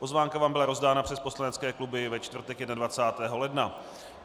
Pozvánka vám byla rozdána přes poslanecké kluby ve čtvrtek 21. ledna.